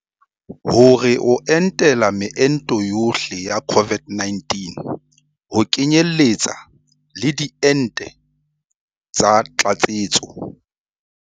Hore o entela meento yohle ya COVID-19 ho kenyeletsa le diente tsa tlatsetso.